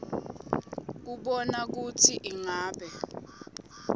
kubona kutsi ingabe